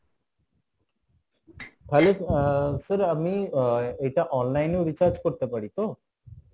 sir আমি আহ এটা online এও recharge করতে পারি তো?